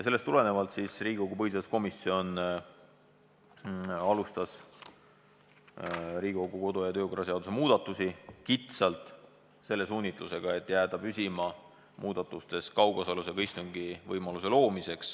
Sellest tulenevalt alustas põhiseaduskomisjon Riigikogu kodu- ja töökorra seaduse muudatusi kitsalt selle suunitlusega, et piirduda muudatustes kaugosalusega istungi võimaluse loomisega.